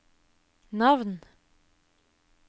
navn